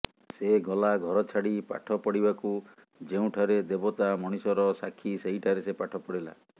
ସେ ଗଲା ଘରଛାଡି ପାଠ ପଢିବାକୁ ଯେଉଁଠାରେ ଦେବତା ମଣିଷର ସାକ୍ଷୀ ସେହିଠାରେ ସେ ପାଠ ପଢିଲା